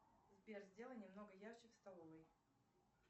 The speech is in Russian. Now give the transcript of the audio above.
сбер сделай немного ярче в столовой